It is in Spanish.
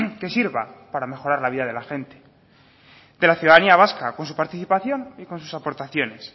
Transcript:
que sirva para mejorar la vida de la gente que la ciudadanía vasca con su participación y con sus aportaciones